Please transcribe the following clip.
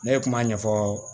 Ne ye kuma ɲɛfɔ